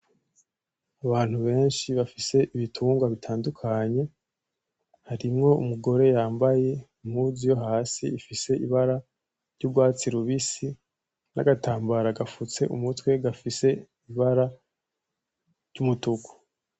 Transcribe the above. Abantu benshi bafise ibitungwa bitandukanye harimwo umugore yambaye impuzu yo Hasi ifise amabara ryurwatsi rubisi nagatambara gafutse umutwe gafise ibara ryumutuku .